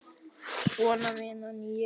Svona vinn ég.